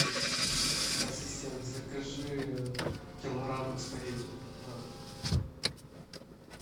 ассистент закажи килограмм спагетти на дом